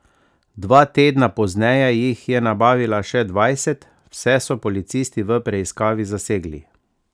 Dva tedna pozneje jih je nabavila še dvajset, vse so policisti v preiskavi zasegli.